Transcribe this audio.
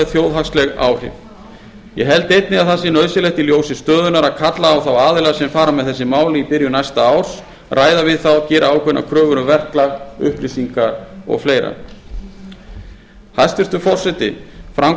þjóðhagsleg áhrif ég held einnig að það sé nauðsynlegt í ljósi stöðunnar að kalla á þá aðila sem fara með þessi mál í byrjun næsta árs ræða við þá gera ákveðnar kröfur um verklag upplýsingar og svo framvegis hæstvirtur forseti fram kom